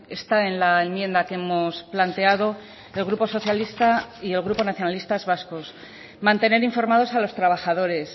está en la enmienda que hemos planteado el grupo socialista y el grupo nacionalistas vascos mantener informados a los trabajadores